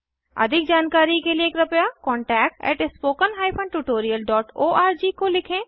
अधिक जानकारी के लिए कृपया contactspoken tutorialorg को लिखें